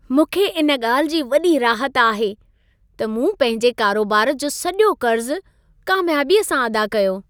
मूंखे इन ॻाल्हि जी वॾी राहत आहे, त मूं पंहिंजे कारोबार जो सॼो कर्ज़ु कामियाबीअ सां अदा कयो।